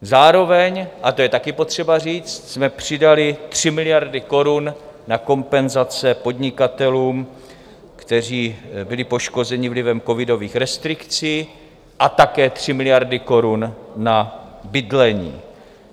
Zároveň, a to je taky potřeba říct, jsme přidali 3 miliardy korun na kompenzace podnikatelům, kteří byli poškozeni vlivem covidových restrikcí, a také 3 miliardy korun na bydlení.